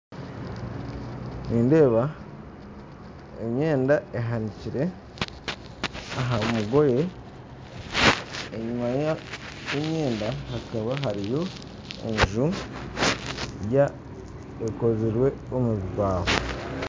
Nindeeba emyenda ehanikire aha mugoye enyima ya emyenda hakaba hariyo enju ekozirwe omubibaaho